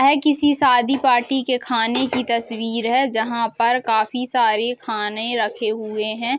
ऐ किसी शादी पार्टी के खाने की तस्वीर है जहाँ पर काफी सारी खाने रखे हुए है।